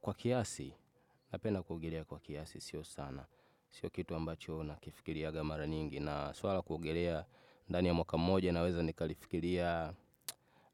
Kwa kiasi, napenda kuogelea kwa kiasi, sio sana, sio kitu ambacho nakifikiriga mara nyingi, na swala la kuogelea ndani ya mwaka moja naweza nikalifikiria